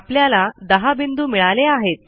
आपल्याला 10 बिंदू मिळाले आहेत